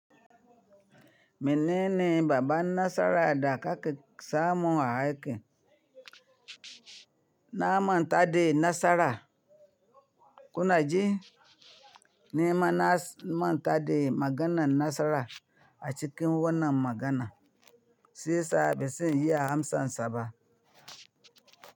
Menene babban nasara da ka ƙe samun a aiƙin. Na manta da nasara. Kuna ji? Nima na manta da maganan nasara a cikin wannan magana, shiya sa ba zan iya amsan ba.